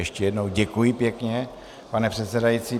Ještě jednou děkuji pěkně, pane předsedající.